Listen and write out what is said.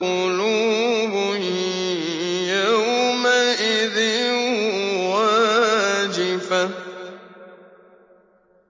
قُلُوبٌ يَوْمَئِذٍ وَاجِفَةٌ